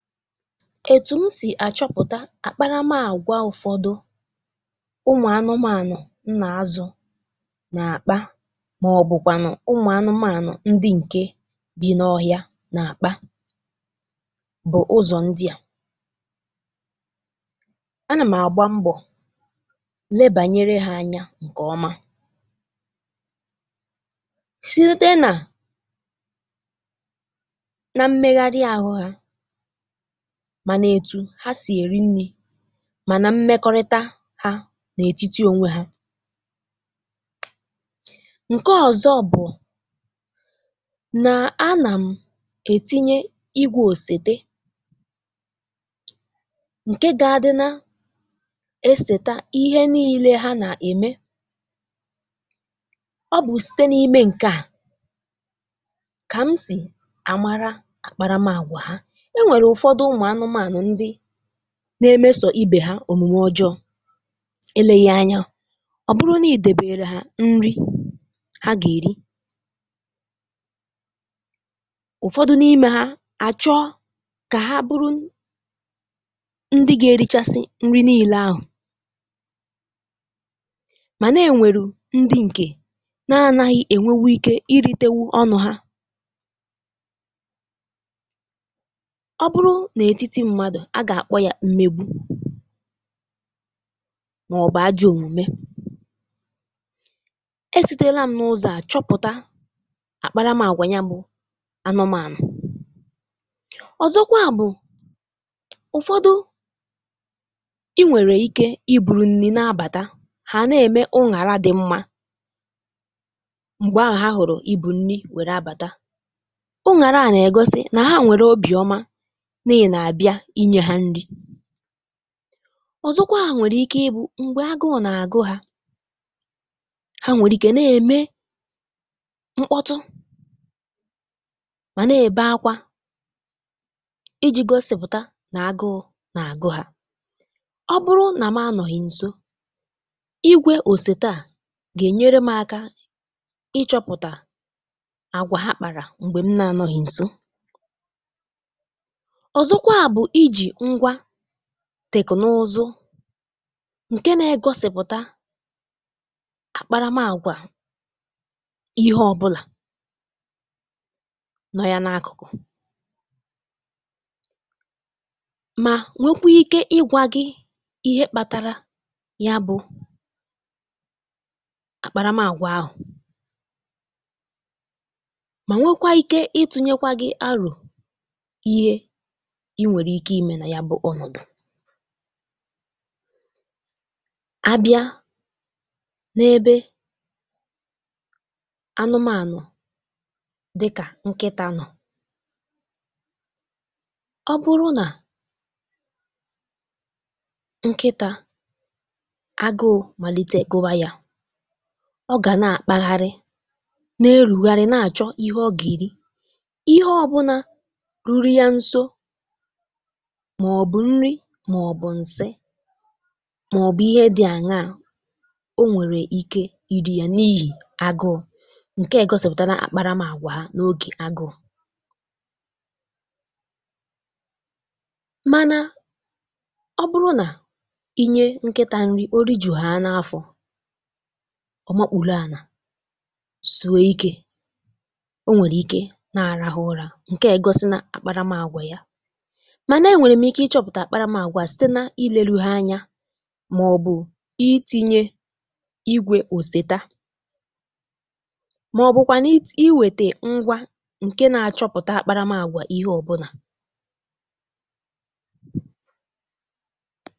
Etu m si achọpụta àkparamààgwà ụfọdụ ụmụ anụmanụ m na-azụ, na-akpa, maọbụkwa ụmụ anụmanụ ndị nke bi n’ọhịa na-akpa, bụ ụzọ ndị a na m na-agba mbọ leba anya. Nke a bụ ụzọ ọma si rute n’ime mmegharị ahụ ha, mana etu ha si eri nri, na mmekọrịta ha n’etiti onwe ha. Nke ọzọ bụ na, a na m etinye igwe osètà nke ga-adịrị na-eseta ihe niile ha na-eme. Ọ bụ site n’ime nke a ka m si amatà akparamàgwà ha. Na-emegharị ibe ha, omume ọjọọ, ileghị anya, ọ bụrụ na i debere ha nri, ha ga-eri. Ụfọdụ n’ime ha achọ ka ha bụrụ ndị ga-erichasi nri, na ile ahụ ma na-enwe ndị nke na-adịghị enwe ike iri tewuru ọnụ. A ga-akpọ ya mmegbu maọbụ ajọ omume. E siterela m n’ụzọ a chọpụta àkparamàgwà ya bụ anụmanụ. Ụzọ ọzọkwa bụ na, ụfọdụ, i nwere ike iburu nri na-abata. Ha na-eme o ghara ịdị mma. Mgbe ahụ ha hụrụ ibu nri wèrè abata, o ghaghị igosi na ha nwere obiọma. Ọzọkwa, ha nwere ike ịbụ mgbe agụụ na-agụ ha. Ha nwere ike na-eme mkpọtụ ma na-eme akwa, iji gosi na agụụ na-agụ ha. Ọ bụrụ na m nọ ha nso, igwe osètà ga-enyere m aka ịchọpụta àgwà ha kpọtara. Mgbe m na-anọ ha nso, teknụzụ nke na-egosipụta àkparamàgwà ihe ọ bụla nọ ya n’akụkụ, ma nwekwuo ike ịgwa gị ihe kpatara ya bụ àkparamàgwà ahụ, ma nwekwara ike itunye gị aro nke ime na ya bụ ọnụdu a bịara n’ebe anụmanụ dị ka nkịta nọ. Ọ bụrụ na nkịta agụụ malite, kowaa ya: ọ ga na-akpagharị n’erugharị na-achọ ihe ọ ga-eri ihe ọ bụla ruru ya nso, maọbụ nri, maọbụ nse, maọbụ ihe dị anya, ọ nwere ike iri ya n’ihi agụụ. Nke a egosipụta na àkparamàgwà ya n’oge agụụ. Mana, ọ bụrụ na i nye nkịta nri, oriju ya n’afọ, ọ makpụlụ, a na-asụwe ike. Ọ nwere ike na-arahụ ụra. Nke a egosi na àkparamàgwà ya dị iche. Site na ilele ha anya, maọbụ itinye igwe osètà, maọbụkwa i weta ngwa nke na-achọpụta àkparamàgwà, ihe ọ bụla.